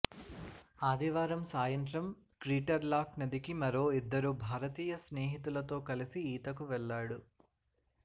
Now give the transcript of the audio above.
ఆదివారం సాయంత్రం క్రీటర్లాక్ నదికి మరో ఇద్దరు భారతీయ స్నేహితులతో కలసి ఈతకి వెళ్లాడు